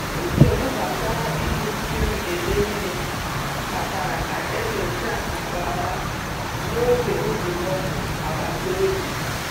Nsogbu gbasara iji mmiri eme ihe kpatara ka e nyochaa nke ọma n’oge nzukọ agbata obi.